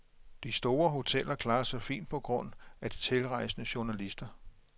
De store hoteller klarer sig fint på grund af de tilrejsende journalister.